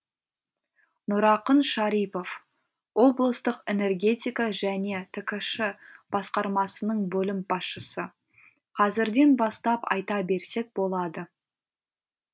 нұрақын шарипов облыстық энергетика және ткш басқармасының бөлім басшысы қазірден бастап айта берсек болады